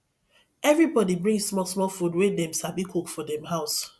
everybody bring small small food wey dem sabi cook for dem house